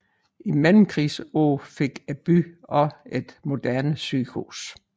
I mellemkrigsårene fik byen også et moderne sygehus